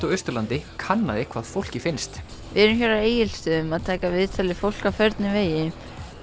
á Austurlandi kannaði hvaða fólki finnst við erum hér á Egilsstöðum að taka viðtöl við fólk á förnum vegi